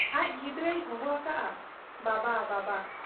ᱟᱡ ᱠᱷᱤᱫᱽᱨᱟᱹᱭ ᱦᱚᱦᱚ ᱟᱠᱟᱜ ᱟ ᱵᱟᱵᱟ ! ᱵᱟᱵᱟ !